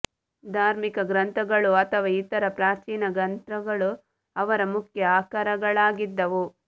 ಧಾರ್ಮಿಕ ಗ್ರಂಥಗಳು ಅಥವಾ ಇತರ ಪ್ರಾಚೀನ ಗ್ರಂಥಗಳು ಅವರ ಮುಖ್ಯ ಆಕರಗಳಾಗಿದ್ದವು